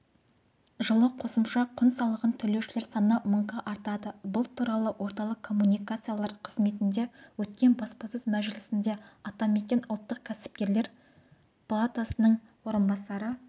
жылы қосымша құн салығын төлеушілер саны мыңға артады бұл туралы орталық коммуникациялар қызметінде өткен баспасөз мәжілісінде атамекен ұлттық кәсіпкерлер палатасының орынбасары